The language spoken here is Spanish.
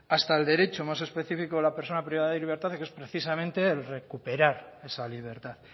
hasta el derecho más específico de la persona que es precisamente el recuperar esa libertad